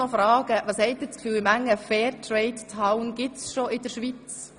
Was denken Sie, wie viele Fair Trade Towns gibt es schon in der Schweiz?